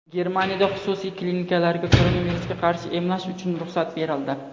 Germaniyada xususiy klinikalarga koronavirusga qarshi emlash uchun ruxsat berildi.